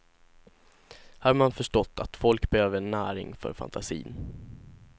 Här har man förstått att folk behöver näring för fantasin.